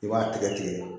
I b'a tigɛ tigɛ